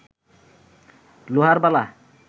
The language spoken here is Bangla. লোহার বালা